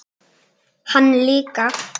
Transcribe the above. Hann líka.